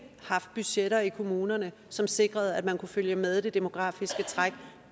haft budgetter i kommunerne som sikrede at man kunne følge med i det demografiske træk